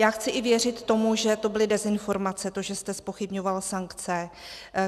Já chci i věřit tomu, že to byly dezinformace, to že jste zpochybňoval sankce.